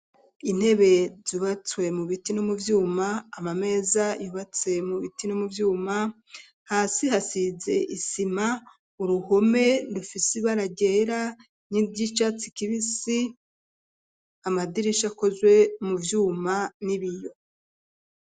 Intebe zubatswe mu biti no mu vyuma amameza yubatse mu biti no mu vyuma hasi hasize isima uruhome rufisi ibara ryera ni ry'icatsi kibisi amadirisha akozwe mu vyuma n'ibiyo.